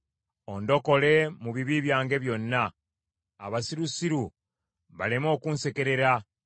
Ondokole mu bibi byange byonna, abasirusiru baleme okunsekerera.